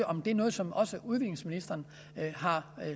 om det er noget som også udviklingsministeren har